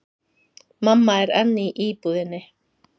Mamma er enn í íbúðinni.